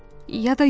Ya da yox.